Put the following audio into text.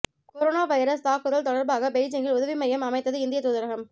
corona virus தாக்குதல் தொடர்பாக பெய்ஜிங்கில் உதவி மையம் அமைத்தது இந்திய தூதரகம்